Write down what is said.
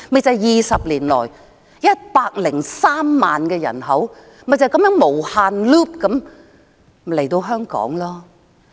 在20年來 ，103 萬的人口便是這樣"無限 loop" 地來港。